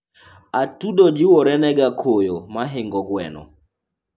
atudo jiworenega koyo mahingo gweno